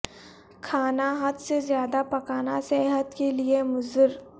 کھانا حد سے زیادہ پکانا صحت کے لیے مضر